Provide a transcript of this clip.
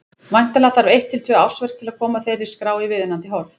Væntanlega þarf eitt til tvö ársverk til að koma þeirri skrá í viðunandi horf.